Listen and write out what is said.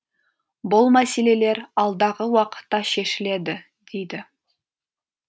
бұл мәселелер алдағы уақытта шешіледі дейді